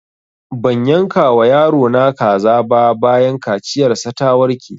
Ban yanka wa yaro na kaza ba bayan kaciyar sa ta warke